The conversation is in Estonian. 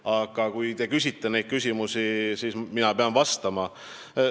Aga kui te küsite just neid küsimusi, siis mina pean vastama.